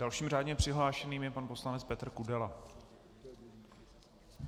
Dalším řádně přihlášeným je pan poslanec Petr Kudela.